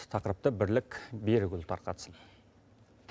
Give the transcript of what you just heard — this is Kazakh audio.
тақырыпты бірлік берікұлы тарқатсын